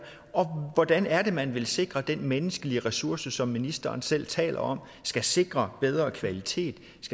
og hvordan er det man vil sikre den menneskelige ressource som ministeren selv taler om skal sikre bedre kvalitet